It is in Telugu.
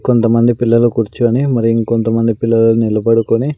కొంతమంది పిల్లలు కుర్చొని మరి ఇంకొంతమంది పిల్లలు నిలబడుకుని--